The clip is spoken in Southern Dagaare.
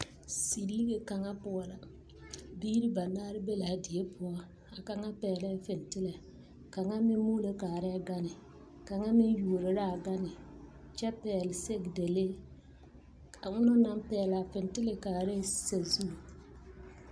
Zilige kaŋa poɔ la biire banaare be laa die poɔ a kaŋa pɛglɛɛ fintilɛ kaŋa meŋ muulo kaarɛɛ gane kaŋa meŋ yuoro laa gane kyɛ pɛgle sɛgedalee a onɔŋ naŋ pɛglaa fintilɛ kaarɛɛ sazu.